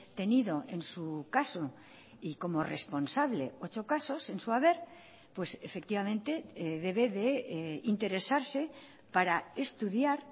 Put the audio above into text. tenido en su caso y como responsable ocho casos en su haber pues efectivamente debe de interesarse para estudiar